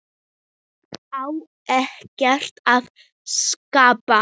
Á ekkert að skapa?